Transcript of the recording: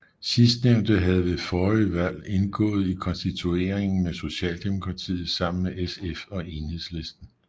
Sidstnævnte havde ved forrige valg indgået i konstitueringen med Socialdemokratiet sammen med SF og Enhedslisten